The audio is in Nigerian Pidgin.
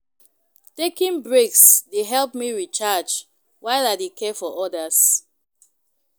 Taking breaks dey help me recharge while I dey care for others.